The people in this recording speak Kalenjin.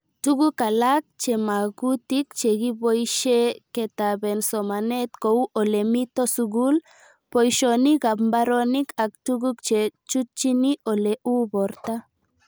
Tuk alak chema kutik che kipoishe ketaben somanet kou ole mito sukul ,poishonik ab mbaronik ak tuguk che chutchini olee uu porto